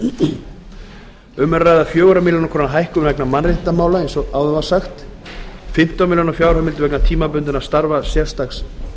króna um er að ræða fjórar milljónir króna hækkun vegna mannréttindamála og fimmtán milljónir króna fjárheimild vegna tímabundinna starfa sérstaks